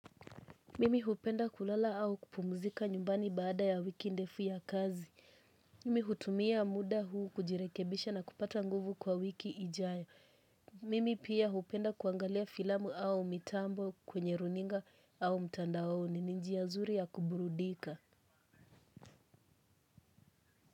Mimi hupenda kulala au kupumzika nyumbani baada ya wiki ndefu ya kazi. Mimi hutumia muda huu kujirekebisha na kupata nguvu kwa wiki ijayo. Mimi pia hupenda kuangalia filamu au mitambo kwenye runinga au mtandaoni ni njia nzuri ya kuburudika.